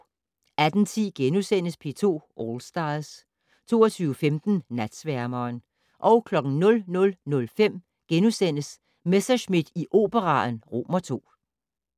18:10: P2 All Stars * 22:15: Natsværmeren 00:05: Messerschmidt i Operaen II *